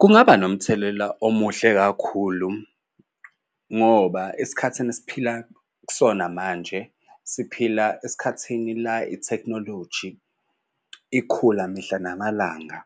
Kungaba nomthelela omuhle kakhulu ngoba esikhathini esiphila kusona manje siphila esikhathini la ithekhinoloji ikhula mihla namalanga,